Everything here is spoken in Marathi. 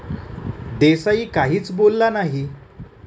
देसाई काहीच बोलला नाही.